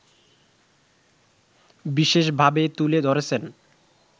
বিশেষ ভাবে তুলে ধরেছেন